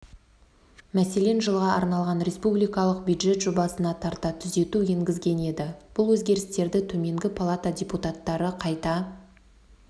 мәселен жылға арналған республикалық бюджет жобасына тарта түзету енгізген еді бұл өзгерістерді төменгі палата депутаттары қайта